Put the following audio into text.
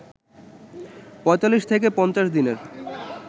৪৫ থেকে ৫০ দিনের